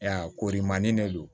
korimanin de don